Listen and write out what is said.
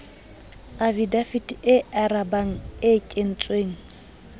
afidavite e arabang e kentsweng